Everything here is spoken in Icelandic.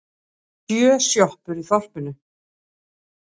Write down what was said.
Það eru sjö sjoppur í þorpinu!